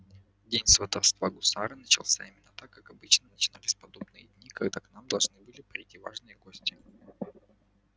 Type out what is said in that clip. день сватовства гусара начался именно так как обычно начинались подобные дни когда к нам должны были прийти важные гости